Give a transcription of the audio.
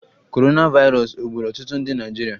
Korona vairos ọ gburu ọtụtụ ndị Naịjirịa?